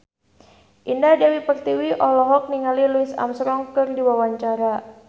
Indah Dewi Pertiwi olohok ningali Louis Armstrong keur diwawancara